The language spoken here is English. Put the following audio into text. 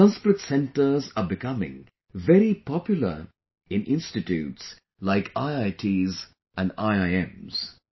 Sanskrit centers are becoming very popular in institutes like IITs and IIMs